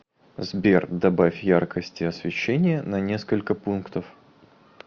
сбер добавь яркости освещения на несколько пунктов